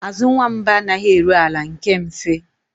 Azụ nwamba anaghị eru ala nke mfe